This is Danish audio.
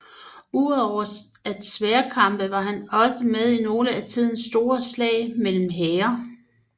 Ud over at sværdkæmpe var han også med i nogle af tidens store slag mellem hære